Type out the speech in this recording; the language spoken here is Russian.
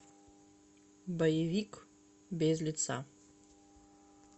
боевик без лица